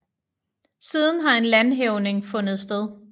Siden har en landhævning fundet sted